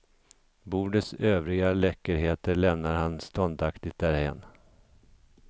Bordets övriga läckerheter lämnar han ståndaktigt därhän.